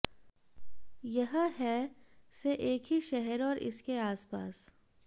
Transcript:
यह है से एक ही शहर और इसके आसपास